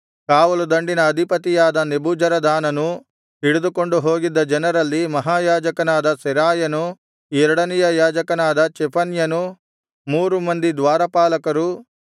ಕಾವಲುದಂಡಿನ ಅಧಿಪತಿಯಾದ ನೆಬೂಜರದಾನನು ಹಿಡಿದುಕೊಂಡು ಹೋಗಿದ್ದ ಜನರಲ್ಲಿ ಮಹಾಯಾಜಕನಾದ ಸೆರಾಯನು ಎರಡನೆಯ ಯಾಜಕನಾದ ಚೆಫನ್ಯನು ಮೂರು ಮಂದಿ ದ್ವಾರಪಾಲಕರು